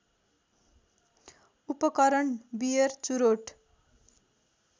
उपकरण बियर चुरोट